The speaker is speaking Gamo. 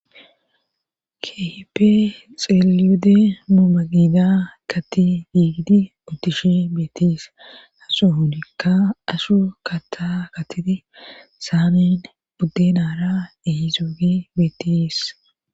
keehipe xeelide muumagida katti diigidi udtishe beetis asu hunikka ashu kata katiti saamin budde naara ehizoofi beetis